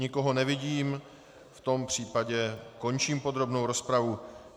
Nikoho nevidím, v tom případě končím podrobnou rozpravu.